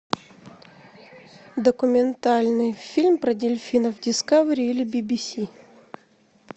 документальный фильм про дельфинов дискавери или би би си